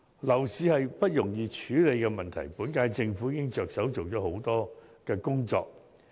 樓市是不容易處理的問題，本屆政府已着手做了許多工作。